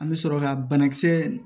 An bɛ sɔrɔ ka banakisɛ